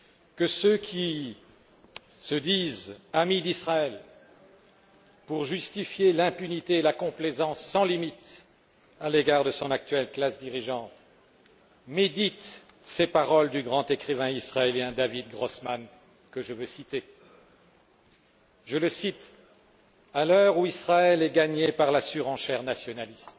Que ceux qui se disent amis d'Israël pour justifier l'impunité et faire preuve d'une complaisance sans limites à l'égard de son actuelle classe dirigeante méditent ces paroles du grand écrivain israélien David Grossmann, que je veux citer À l'heure où Israël est gagné par la surenchère nationaliste,